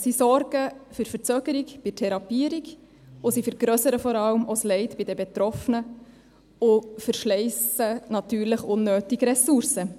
Sie sorgen für Verzögerung bei der Therapierung, und sie vergrössern vor allem auch das Leid bei den Betroffenen und verschleissen natürlich unnötig Ressourcen.